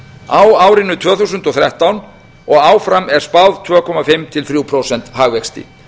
á árinu tvö þúsund og þrettán og áfram er spáð tvö og hálft til þriggja prósenta hagvexti